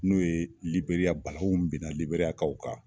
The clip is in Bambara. N'o ye liberiya balaw min bena liberiya kaw kan